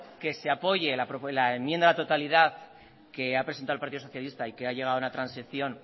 que se apoye la enmienda de totalidad que ha presentado el partido socialista y que ha llegado a una transacción